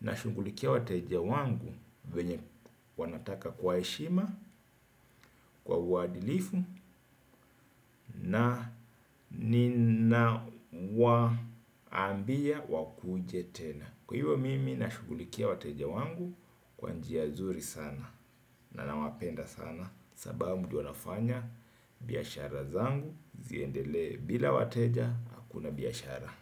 nashughulikia wateja wangu venye wanataka kwa heshima, kwa uadilifu na ninawaambia wakuje tena. Kwa hivyo mimi nashughulikia wateja wangu kwa njia nzuri sana. Na nawapenda sana sababu ndio wanafanya biashara zangu ziendelee. Bila wateja hakuna biashara.